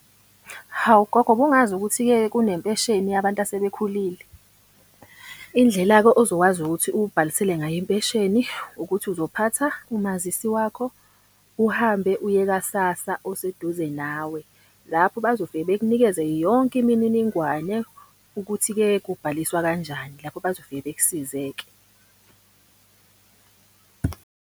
Hawu gogo, ubungazi ukuthi-ke kunempesheni yabantu asebekhulile. Indlela-ke ozokwazi ukuthi ubhalisele ngayo impesheni ukuthi uzophatha umazisi wakho, uhambe uye ka-SASSA oseduze nawe. Lapho bazofike bekunikeze yonke imininingwane ukuthi-ke kubhaliswa kanjani, lapho bazofike bekusize-ke .